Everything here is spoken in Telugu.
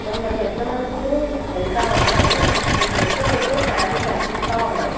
కొందరు పెద్ద మనుషులు వెళ్తా ఉన్నారు పెద్ద పెద్ద ఫ్యాన్లు కనిపిస్తా ఉన్నాయి.